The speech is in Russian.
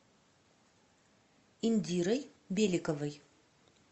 индирой беликовой